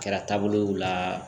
A kɛra taabolow la